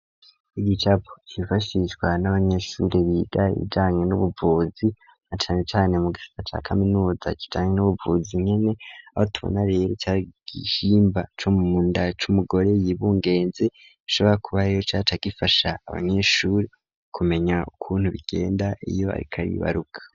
Igicapo gifashishwa n'abanyeshuri biga ibijanywe n'ubuvuzi,, acane cane mu gisa ca kaminuza, rijanywe n'ubuvuzi ,nkene aba tubona rero cagihimba c'umunda c'umugore ,yibungenze bishobora kuba riyo cace gifasha abanyeshuri kumenya ukuntu bigenda iyo ariko ari ibaruka.